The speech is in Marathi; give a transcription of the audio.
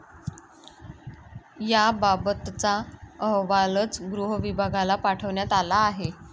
याबाबतचा अहवालच गृहविभागाला पाठवण्यात आला आहे.